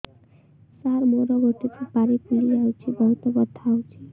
ସାର ମୋର ଗୋଟେ ସୁପାରୀ ଫୁଲିଯାଇଛି ବହୁତ ବଥା ହଉଛି